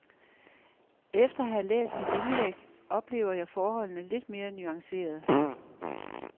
Efter at have læst dit indlæg oplever jeg forholdene lidt mere nuanceret.